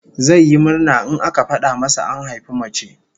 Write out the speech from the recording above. Zai yi murna in aka fada masa an haifi mace